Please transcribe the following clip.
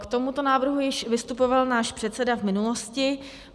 K tomuto návrhu již vystupoval náš předseda v minulosti.